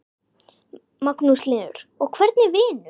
Magnús Hlynur: Og hvernig vinur?